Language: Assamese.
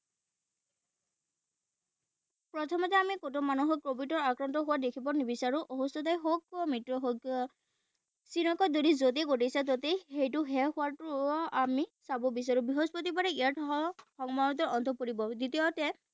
প্ৰথমতে আমি কোনো মানুহক covid nineteen ত আক্ৰান্ত হোৱা দেখিব নিবিচাৰো। সুস্থয়ে হওঁক, মৃত্যুয়ে হওঁক, যদি যতে ততে সেইটো শেষ হোৱাটো আমি চাব বিচাৰো। বৃহস্পতিবাৰে ইয়াত অন্ত পৰিব। দ্বিতীয়তে